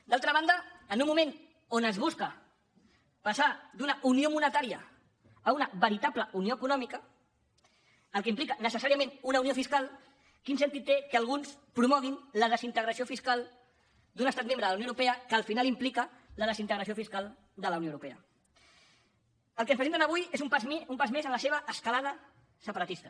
d’altra banda en un moment on es busca passar d’una unió monetària a una veritable unió econòmica el que implica necessàriament una unió fiscal quin sentit té que alguns promoguin la desintegració fiscal d’un estat membre de la unió europea que al final implica la desintegració fiscal de la unió europea el que ens presenten avui és un pas més en la seva escalada separatista